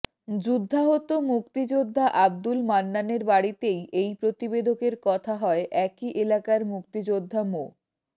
যুদ্ধাহত মুক্তিযোদ্ধা আব্দুল মান্নানের বাড়িতেই এই প্রতিবেদকের কথা হয় একই এলাকার মুক্তিযোদ্ধা মো